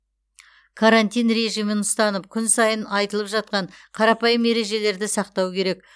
карантин режимін ұстанып күн сайын айтылып жатқан қарапайым ережелерді сақтау керек